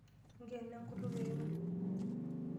Nkeno enkutuk ero.